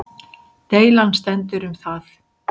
Deilan stendur um það